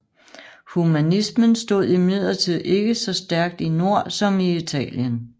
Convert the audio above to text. Humanismen stod imidlertid ikke så stærkt i nord som i Italien